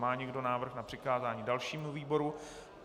Má někdo návrh na přikázání dalšímu výboru?